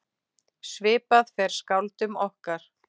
Svipað fer skáldum okkar.